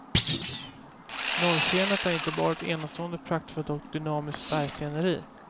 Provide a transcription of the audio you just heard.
Norrskenet är inte bara ett enastående praktfullt och dynamiskt färgsceneri.